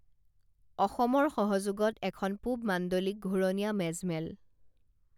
অসমৰ সহযোগত এখন পূৱ মাণ্ডলিক ঘূৰণীয়া মেজমেল